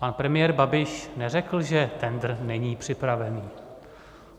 Pan premiér Babiš neřekl, že tendr není připravený.